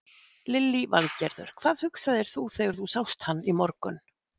Lillý Valgerður: Hvað hugsaðir þú þegar þú sást hann í morgun?